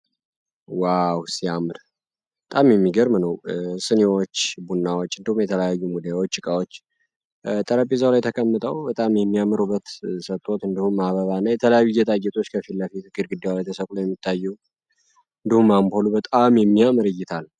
ዋው ሲያምር ጣም የሚገርምነው ስኔዎች ቡናዎች እንድሁም የተለያዩ ሙዲያዎ ችቃዎች ጠረፒዘው ላይ ተከምጠው በጣም የሚያምሩበት ሰጥቶዎት እንድሁም አበባ እና የተለያዩ የታአየጦች ከፊለፊትክር ግዲውላ የተሰቁሎ የሚታዩ እንድሁም አምብሉ በጣም የሚያምር እይታል ነው።